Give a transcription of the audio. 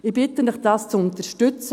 Ich bitte Sie, dies zu unterstützten.